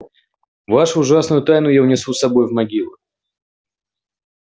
вашу ужасную тайну я унесу с собой в могилу